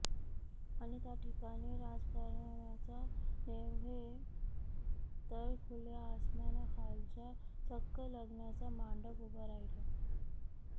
आणि त्याठिकाणी राजकारणाचा नव्हे तर खुल्या आसमानाखालचा चक्क लग्नाचा मांडव उभा राहीला